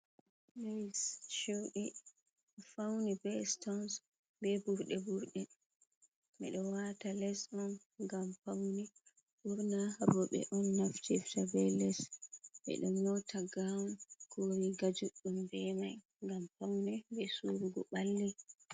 Lees ceude fauni be stons be burde burde. Bedo wata les on gam pauni, burna robe on naftirta be les. be do nyauta gaaun, ko riga juddum be mai. gam paune be surugo balli.